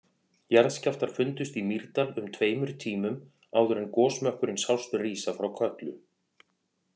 Jarðskjálftar fundust í Mýrdal um tveimur tímum áður en gosmökkurinn sást rísa frá Kötlu.